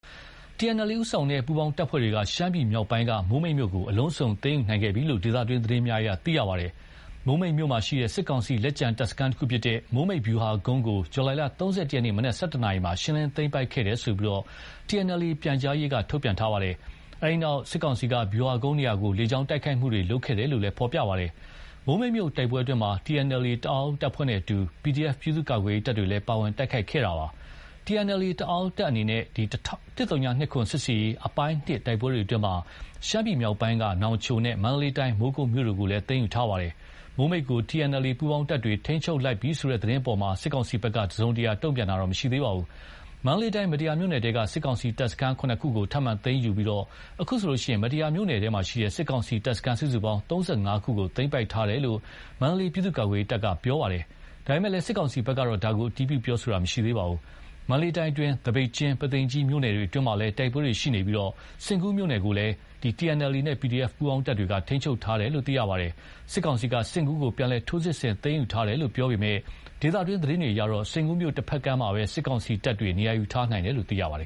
TNLA ဦးဆောင်တဲ့ ပူးပေါင်းတပ်ဖွဲ့တွေက ရှမ်းပြည်မြောက်ပိုင်း မိုးမိတ်မြို့ကို အလုံးစုံသိမ်းယူနိုင်ခဲ့ပြီလို့ ဒေသတွင်း သတင်းများအရသိရပါတယ်။ မိုးမိတ်မြို့ရှိ စစ်ကောင်စီ လက်ကျန်တပ်စခန်းတခုဖြစ်တဲ့ မိုးမိတ်ဗျူဟာကုန်းကို ဇူလိုင်လ ၃၁ ရက်နေ့ မနက် ၁၁ နာရီမှာ ရှင်းလင်းသိမ်းပိုက်ခဲ့တယ်လို့ TNLA ပြန်ကြားရေးက ထုတ်ပြန်ထားပါတယ်။ အဲဒီနောက် စစ်ကောင်စီက ဗျူဟာကုန်းနေရာကို လေကြောင်းကတိုက်ခိုက်ခဲ့တယ်လို့လည်း ဖော်ပြပါတယ်။ မိုးမိတ်မြို့တိုက်ပွဲအတွင်းမှာ TNLA တအောင်းတပ်ဖွဲ့နဲ့အတူ PDF ပြည်သူ့ကာကွယ်ရေးတပ်တွေလည်း ပါဝင် တိုက်ခိုက်ခဲ့တာပါ။ TNLA တအောင်းတပ်အနေနဲ့ ၁၀၂၇ စစ်ဆင်ရေး အပိုင်း (၂) တိုက်ပွဲတွေအတွင်း ရှမ်းပြည်မြောက်ပိုင်း နောင်ချိုနဲ့ မန္တလေးတိုင်း မိုးကုတ်မြို့တို့ကိုလည်း သိမ်းယူထားပါတယ်။ မိုးမိတ်ကို TNLA ပူးပေါင်းတပ်တွေ ထိန်းချုပ်လိုက်ပြီ ဆိုတဲ့ သတင်းအပေါ် စစ်ကောင်စီဘက်က တစုံတရာတုံ့ပြန်တာမရှိသေးပါဘူး။ မန္တလေးတိုင်း မတ္တရာမြို့နယ်ထဲက စစ်ကောင်စီ တပ်စခန်း ၇ ခုကို ထပ်မံသိမ်းယူခဲ့ပြီး ခုဆိုရင် မတ္တရာမြို့နယ် စစ်ကောင်စီတပ်စခန်းစုစုပေါင်း ၃၅ ခုသိမ်းပိုက်ထားတယ်လို့ မန္တလေး ပြည်သူ့ကာကွယ်ရေးတပ်က ပြောပါတယ်။ ဒါပေမယ့် စစ်ကောင်စီဘက်ကတော့ ဒါကို အတည်ပြုတာမျိုး မရှိပါဘူး။ မန္တလေးတိုင်းအတွင်း သပိတ်ကျင်း၊ ပုသိမ်ကြီးမြို့နယ်တွေအတွင်းမှာလည်း တိုက်ပွဲတွေရှိနေပြီး စဉ့်ကူးမြို့ကိုလည်း TNLA နဲ့ PDF ပူးပေါင်းတပ်တွေ ထိန်းချုပ်ထားတယ်လို့ သိရပါတယ်။ စစ်ကောင်စီက စဉ့်ကူးကို ပြန်လည်ထိုးစစ်ဆင်သိမ်းယူထားတယ်လို့ ပြောပေမယ့် ဒေသတွင်းသတင်းတွေအရတော့ စဉ်ကူးမြို့ တဘက်ကမ်းမှာပဲ စစ်ကောင်စီတပ်တွေ နေရာယူထားနိုင်တယ်လို့ သိရပါတယ်